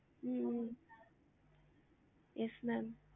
hmm hmm yes ma'am